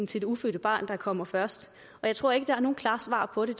til det ufødte barn der kommer først og jeg tror ikke der er nogen klare svar på det